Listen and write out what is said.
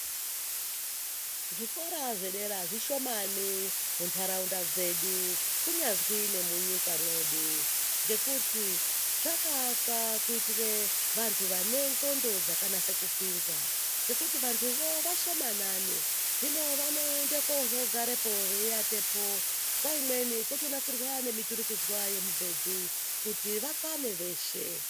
Zvikora zvedera zvishomani mu ndaraunda dzedu kunyazwi ne munyika mwedu ngekuti zvaka akwa kuitire vantu vane ndxondo dzaka nase kupinza ngekuti vantu vo vashomanani hino vano ende kozo garapo vei atepo nguva imweni koto nasirwa ne miturikidzwa ye mubhedhu kuti vakwane veshe.